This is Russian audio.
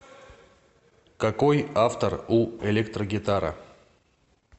какой автор у электрогитара